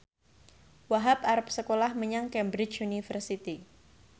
Wahhab arep sekolah menyang Cambridge University